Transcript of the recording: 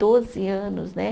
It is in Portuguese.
Doze anos, né?